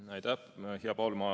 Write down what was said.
Aitäh, hea Paul!